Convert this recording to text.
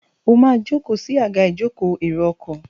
o ma joko sí Àga ìjókòó èrò ọkọ̀.